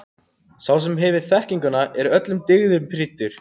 Sá sem hefur þekkinguna er öllum dygðum prýddur.